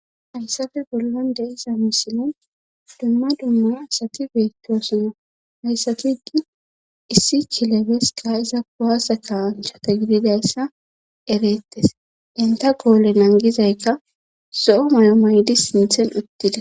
Hayssafe bollan de iza misine dumma dumma asati beettiwasuna hayssafigi issi kilebeska iza waasa ka anchata gididayssa ereettes inta goole nangizaykka zo7o mayo maydi sinthen uttida.